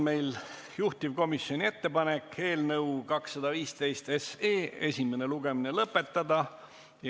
Meil on juhtivkomisjoni ettepanek eelnõu 215 esimene lugemine lõpetada.